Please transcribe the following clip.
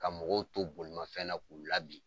Ka mɔgɔw to bolimafɛn na k'u labin.